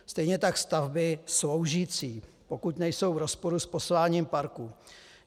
Stejně tak stavby sloužící, pokud nejsou v rozporu s posláním parku.